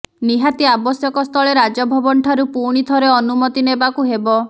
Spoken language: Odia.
ନିହାତି ଆବଶ୍ୟକସ୍ଥଳେ ରାଜଭବନଠାରୁ ପୁଣି ଥରେ ଅନୁମତି ନେବାକୁ ହେବ